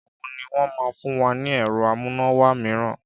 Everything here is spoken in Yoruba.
Ìgbà wo ni wọn máa fún wa ni ẹ̀rọ amúnáwá mìíràn?